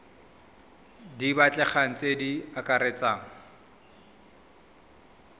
di batlegang tse di akaretsang